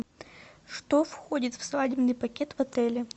что входит в свадебный пакет в отеле